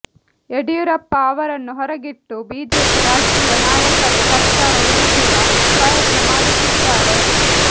ಯಡಿಯೂರಪ್ಪ ಅವರನ್ನು ಹೊರಗಿಟ್ಟು ಬಿಜೆಪಿ ರಾಷ್ಟ್ರೀಯ ನಾಯಕರೇ ಸರ್ಕಾರ ಉರುಳಿಸುವ ಪ್ರಯತ್ನ ಮಾಡುತ್ತಿದ್ದಾರೆ